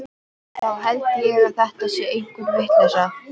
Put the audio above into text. Þá held ég fyrst að þetta sé einhver vitleysa.